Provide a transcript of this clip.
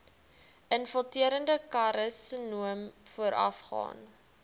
infiltrerende karsinoom voorafgaan